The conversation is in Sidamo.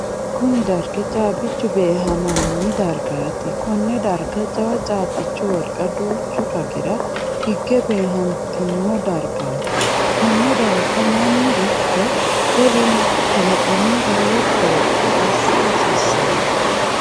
Kunni dargi caabichu beehaminni dargaati. Konne darga jawa caabichu wolqa duuchu ragira hige beehantino dargaati. Konne darga Manu iko wolu kalaqami lowo qoropho assa hasiisano.